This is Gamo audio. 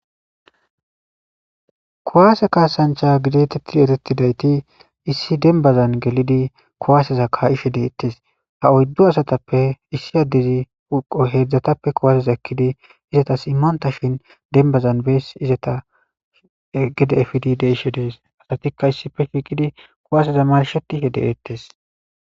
Kuwase kaasancha getetidi eretidayti issí dembaza gelido kuwaseza kaa'ishe deetes. Ha oydu asatappe issi addezi hanko hezhatappe kuwaseza ekidi eetas immontashi bed dembaza gede ezgishe dees. Eetika kuwaseza marshetishe deetes.